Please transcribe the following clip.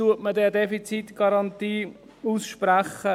Wann spricht man eine Defizitgarantie aus?